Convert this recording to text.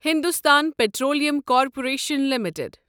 Hindustan petroleum corporation limited